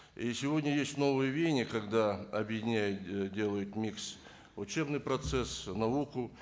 и сегодня есть новое вение когда объеденяют ы делают микс учебный процесс науку